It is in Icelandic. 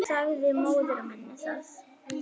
Sagði móður minni það.